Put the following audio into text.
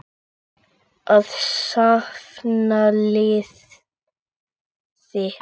Að safna liði!